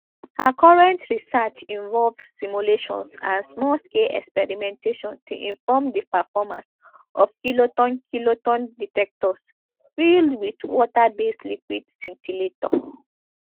her current research involve simulations and small scale experimentation to inform di performance of kiloton kiloton detectors filled wit waterbased liquid scintillator